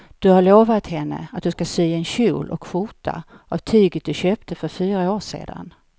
Du har lovat henne att du ska sy en kjol och skjorta av tyget du köpte för fyra år sedan.